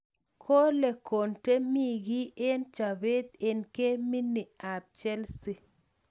Kole konte mii kii eng chobeet an geminik ab chelsii